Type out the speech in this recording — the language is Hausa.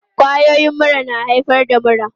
Kwayoyin mura na haifar da mura.